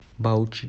баучи